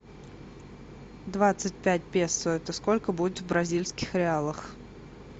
двадцать пять песо это сколько будет в бразильских реалах